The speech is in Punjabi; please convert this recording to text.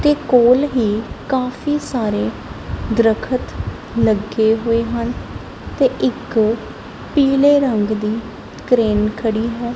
ਕੋਲ ਹੀ ਕਾਫੀ ਸਾਰੇ ਦਰਖਤ ਲੱਗੇ ਹੋਏ ਹਨ ਤੇ ਇੱਕ ਪੀਲੇ ਰੰਗ ਦੀ ਕਰੇਨ ਖੜੀ ਹੈ।